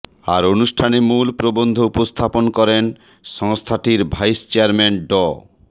আর অনুষ্ঠানে মূল প্রবন্ধ উপস্থাপন করেন সংস্থাটির ভাইস চেয়ারম্যান ড